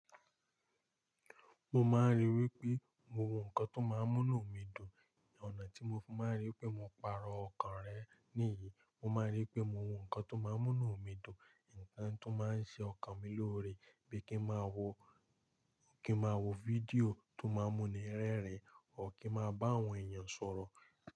Mo máa rí wípé mo wọ nǹkan tó máa ń mú nú mi dùn. Ọ̀nà tí mo fi máa n rí wípé mo pàrọ̀ ọkàn rẹ, níyìí mo máa n rí wípé mo wo ǹkan tó máa ń múnu mi dùn, ǹkan tó máa ń ṣe ọkàn mi lóore bíi kí n máa wo, kí n máa wo fídíò tó máa ń múni rẹ́rìn, or kí n máa bá àwọn èèyàn sọ̀rọ̀.